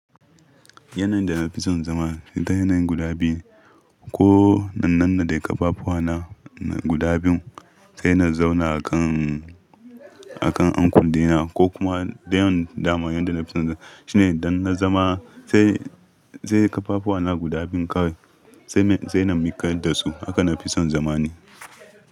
Yanayin da na fi son zama, ita yanayin guda biyun. Ko in nannade ƙafafuwa na guda biyu, sai na zauna a kan, a kan ankle dina ko kuma dayan daman yadda na fi son zama. Shi ne idan na zama sai, sai ƙafafuwa na guda biyu kawai, sai na miƙadda su. Haka na fi son zama ne.